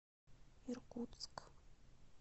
иркутск